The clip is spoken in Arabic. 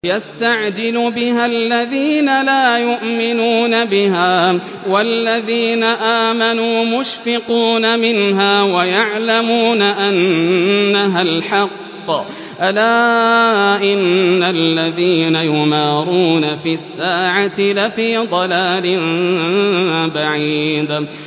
يَسْتَعْجِلُ بِهَا الَّذِينَ لَا يُؤْمِنُونَ بِهَا ۖ وَالَّذِينَ آمَنُوا مُشْفِقُونَ مِنْهَا وَيَعْلَمُونَ أَنَّهَا الْحَقُّ ۗ أَلَا إِنَّ الَّذِينَ يُمَارُونَ فِي السَّاعَةِ لَفِي ضَلَالٍ بَعِيدٍ